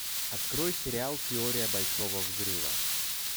открой сериал теория большого взрыва